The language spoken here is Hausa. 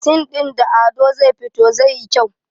sin ɗin da Ado zai fito zai yi kyau